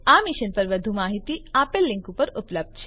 આ મિશન પર વધુ માહીતી આપેલ લીંક પર ઉપલબ્ધ છે